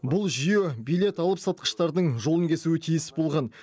бұл жүйе билет алыпсатқыштардың жолын кесуі тиіс болған